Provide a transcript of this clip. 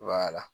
Wala